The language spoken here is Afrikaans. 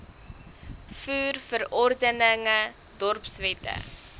voer verordeninge dorpswette